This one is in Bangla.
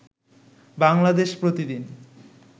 বাংলাদেশ প্রতি দিন